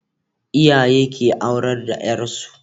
Iyaye ke aurar da yar su